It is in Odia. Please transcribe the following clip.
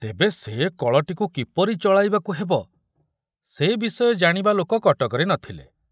ତେବେ ସେ କଳଟିକୁ କିପରି ଚଳାଇବାକୁ ହେବ ସେ ବିଷୟ ଜାଣିବା ଲୋକ କଟକରେ ନଥିଲେ।